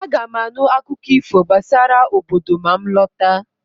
Aga m anụ akụkọ ifo gbasara obodo ma m lọta